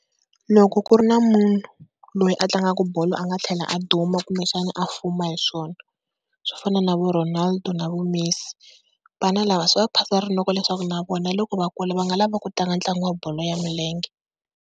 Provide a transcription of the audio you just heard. Loko ku ri na munhu loyi a tlangaka bolo a nga tlhela a duma kumbexana a fuma hi swona swo fana na vo Ronaldo na vo Messi. Vana lava swi va phasa rinoko leswaku na vona loko va kula va nga lava ku tlanga ntlangu wa bolo ya milenge.